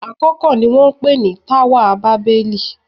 Àkókò ni wọ́n ń pè ní táwà bábẹ́lì.